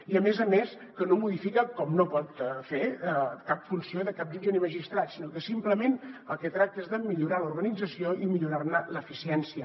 i a més a més que no modifica com no pot fer cap funció de cap jutge ni magistrat sinó que simplement del que tracta és de millorar l’organització i millorar ne l’eficiència